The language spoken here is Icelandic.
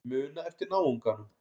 Muna eftir náunganum.